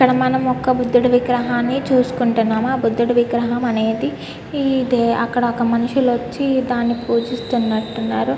ఇక్కడ మనం ఒక బుద్దుడి విగ్రహం చూసుకుంటున్నాము. ఆ బుద్దుడి విగ్రహం అనేది అక్కడ ఒక మనుషులు వచ్చి దాన్ని పూజిస్తునట్టు ఉన్నారు.